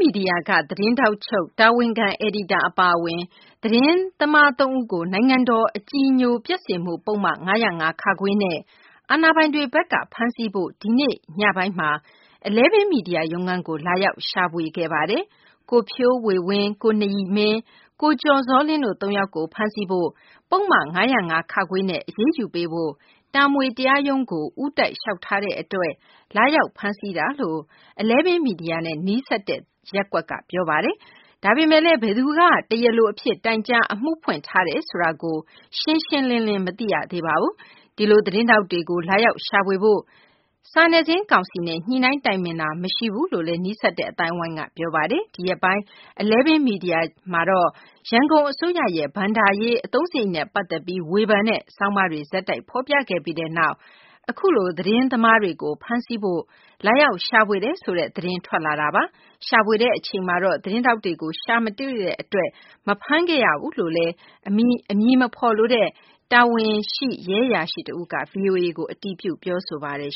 မီဒီယာက သတင်းထောက်ချုပ်၊ တာဝန်ခံ အယ်ဒီတာအပါအဝင် သတင်းသမားသုံးဦးကို နိုင်ငံတော်အကြည်အညိုပျက်စေမှု ပုဒ်မ ၅၀၅ (ခ) နဲ့ အာဏာပိုင်တွေဘက်က ဖမ်းဆီးဖို့ ဒီနေ့ညပိုင်းမှာ Eleven မီဒီယာရုံးခန်းကို လာရောက် ရှာဖွေခဲ့ပါတယ်။ ကိုဖြိုးေ၀၀င်း၊ ကိုနရီမင်း၊ ကျော်ဇောလင်း တို့ သုံးယောက်ကို ဖမ်းဆီးဖို့ ပုဒ်မ ၅၀၅ (ခ) နဲ့ အရေးယူပေးဖို့ တာမွေတရားရုံးသို့ ဦးတိုက်လျှောက်ထားသည့်အတွက် လာရောက် ဖမ်းဆီးတာလို့ Eleven Media နဲ့ နီးစပ်တဲ့ ရပ်ကွက်က ပြောပါတယ်။ ဒါပေမဲ့လည်း ဘယ်သူက တရားလိုအဖြစ် တိုင်ကြား အမှုဖွင့်ထားတယ်ဆိုတာကို ရှင်းရှင်းလင်းလင်း မသိရသေးပါဘူး။ ဒီလို သတင်းထောက်တွေကို လာရောက် ရှာဖွေဖို့ စာနယ်ဇင်းကောင်စီနဲ့ ညှိနှိုင်းတိုင်ပင်တာ ရှိဘူးလို့လည်း နီးစပ်တဲ့အသိုင်းအဝိုင်းက ပြောပါတယ်။ ဒီရက်ပိုင်း Eleven Media ဂျာနယ်မှာ ရန်ကုန်တိုင်းအစိုးရရဲ့ ဘဏ္ဍာရေးအသုံးစရိတ်နဲ့ပတ်သက်ပြီး ဝေဖန်တဲ့ ဆောင်းပါးတွေ ဆက်တိုက်ဖေါ်ပြခဲ့ပြီးတဲ့နောက် အခုလို သတင်းထောက်တွေကို ဖမ်းဆီးဖို့ လာရောက်ရှာဖွေတယ်ဆိုတဲ့ သတင်းထွက်လာတာပါ။ ရှာဖွေတဲ့အချိန်မှာတော့ သတင်းထောက်တွေကို ရှာမတွေ့တဲ့အတွက် မဖမ်းခဲ့ရဘူးလို့ အမည်မဖေါ်လိုသူ တာဝန်ရှိရဲအရာရှိတဦးက VOA က အတည်ပြု ပြောဆိုပါတယ်